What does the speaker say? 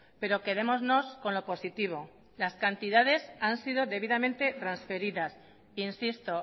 pero quedémonos con lo positivo las cantidades han sido transferidas e insisto